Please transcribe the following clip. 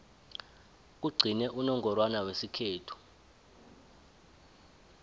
kugcine unongorwana wesikhethu